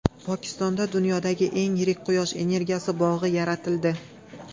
Pokistonda dunyodagi eng yirik quyosh energiyasi bog‘i yaratildi.